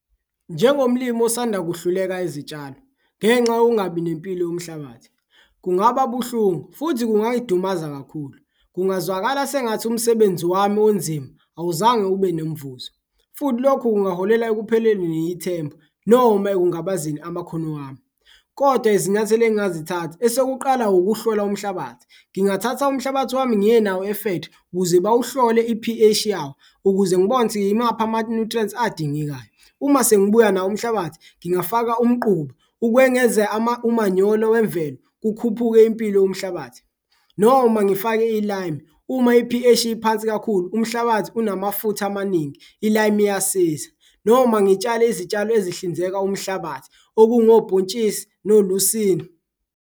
Njengomlimi osanda kuhluleka izitshalo ngenxa yokungabi nempilo yomhlabathi, kungaba buhlungu futhi kungayidumaza kakhulu, kungazwakala sengathi umsebenzi wami onzima awuzange ube nemvuzo futhi lokhu kungaholela ekupheleni yithemba noma ekungabazeni amakhono wami. Kodwa izinyathelo engingazithatha esokuqala ukuhlola umhlabathi, ngingathatha umhlabathi wami ngiye nawo e-factory ukuze bawuhlole i-P_H yawo ukuze ngibone ukuthi imaphi ama-nutrients adingekayo. Uma sengibuya nawo umhlabathi, ngingafaka umquba ukwengeza umanyolo wemvelo kukhuphuke impilo yomhlabathi noma ngifake i-lime uma i-P_H iphansi kakhulu umhlabathi unamafutha amaningi i-lime iyasiza, noma ngitshale izitshalo ezihlinzeka umhlabathi okungobhontshisi nolusili.